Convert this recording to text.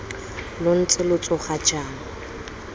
lo ntse lo tsoga jang